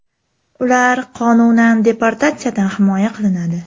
Ular qonunan deportatsiyadan himoya qilinadi.